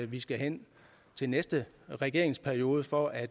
vi skal hen til næste regeringsperiode for at